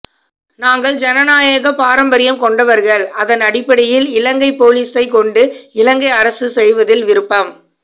நாங்கள் ஜனநாயக பாரம்பரியம் கொண்டவர்கள் அதன் அடிப்படையில் இலங்கை பொலிசை கொண்டு இலங்கை அரசு செய்வதில் விருப்பம்